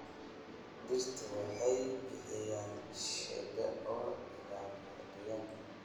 Dhirta waxay bixiyaan shade oo ilaaliya deegaanka.